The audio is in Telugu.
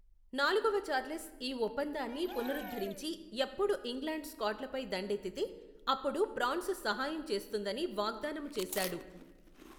నాలుగవ చార్లెస్ ఈ ఒప్పందాన్ని పునరఉధ్ధరించి ఎప్పుడు ఇంగ్లాండు స్కాట్ లపై దండెత్తితే అప్పుడు ప్రాన్సు సహాయము చేస్తుందని వాగ్దానము చేశాడు.